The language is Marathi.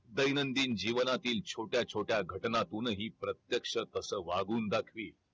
दैनंदिन जीवनातील छोट्या वछोट्या घटनातूनही प्रत्यक्ष तसा वागून दाखवील